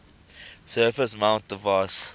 surface mount device